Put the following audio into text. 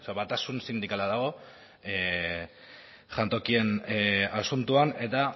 batasun sindikala dago jantokien asuntoan eta